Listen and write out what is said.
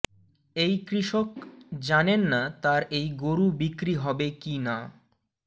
এই কৃষক জানেন না তার এই গরু বিক্রি হবে কি না